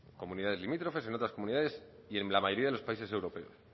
comunidades limítrofes en otras comunidades y en la mayoría de los países europeos